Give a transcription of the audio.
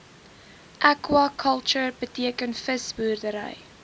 aquaculture beteken visboerdery